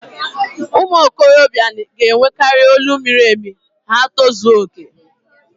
ụmụ okorobịa ga-enwekari olu miri emi ma ha tozuo okè